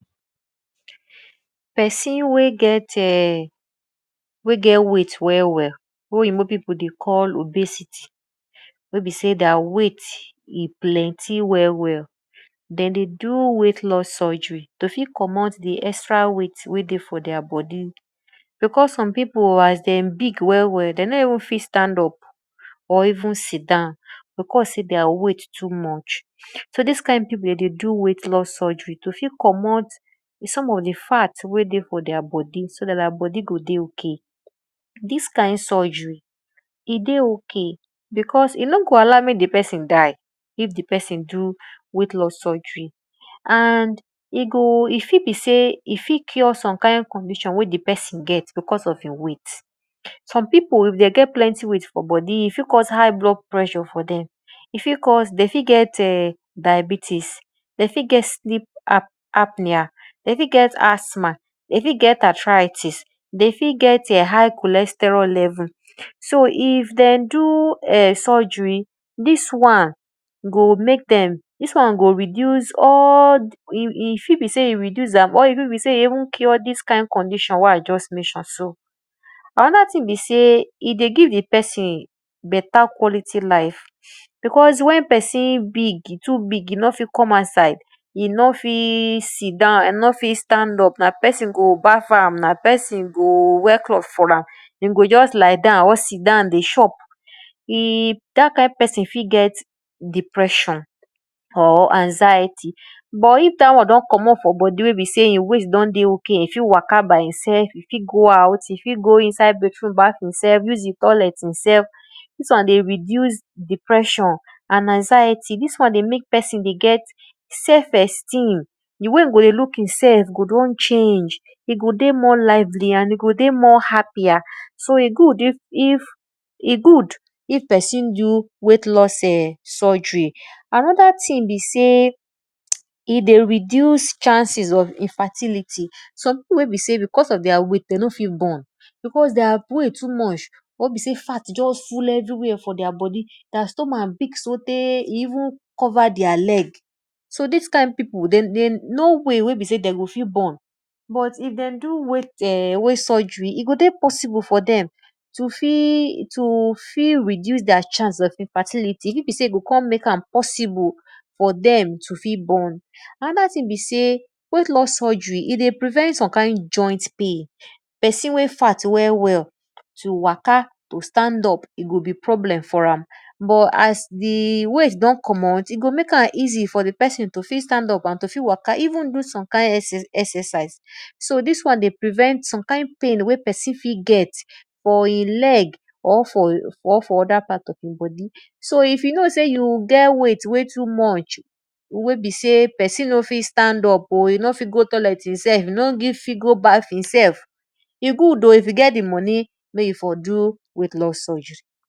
Pesin wey get weight well well wey de dey call obesity wey be sey their weight e plenty well well de dey do weight loss surgery to fit commot weight for their bodi because some pipu as dem big well well de no fit even stand up or even sit down because sey their weight too much so dis kind pipu de dey do weight loss surgery to fit commot some of di fat to wey dey for their bodi so dt thir bodi go dey ok. Dis kind surgery e dey ok, e no go allow di pesin die if di pesin do weight loss surery and e go e fi be sey e fit cure some kind condition wey di pesin get because of e weight. Some pi[u if dem get plenty weight for bodi e fit cause height blood pressure for dem de fit get diabetics, dey fit get asthma de fit get atraitics de ft get high cholesterol level so if den do surgery, dis wan go reduce all e fit be sey e reduce am or e fit be sey e even cure dis kind condition wey I talk so anoda thing be sey e dey give di pesin beta quality life becaue wen pesin big e too big e nor fit come outide e nor fit sit down e no fit stand up na pesin go baff am na pesin go wear cloth for am e go –just lie down or sit dwn dey chop, dat kind pesin fit get depression or anxiety but if da wn don commot for bodi wey besey e weight don dey ok e fit go out baff e sef, e fit go out go inside bathroom baff e sel use toilet e sef, dis wan dey reduce depression and anxiety dis wan dey mek pesin dey get sef esteem di way e go dey look e sef go don change e go dey more lively and more happier so e good if pesin do weight loss surgry. Anoda thing be sey e dey reduce chances of infatility, some pipu wey be sey because of their weight =, de no fit born because their weight too much their stomach big so tey e even cover their leg, so dai kind pipu no way wey de go fit born so if den do weigh loss surgry, e fit to fit reduce their chance of infatility e fit be sey e kon mek am possible for dem to fit born. Anoda thing be sey weight loss surgery dey prevent some kind some kind joint pain, pesin wey fat well well to waka to stand up, e go be problem for ram but as di weight don commot e go ek am easy for di psin to fit stand up to fit waka even some exercise so dis wan prevent some kind pain wey pesin fit get for e leg or ome other part of e bodi so you know sey you get weight wey too much wey be sey pesin nor fit stand up o e nor fit go toilet e sef, e nor fit go baff e self, e good o wen you get di moni mek you for do weight loss surgery.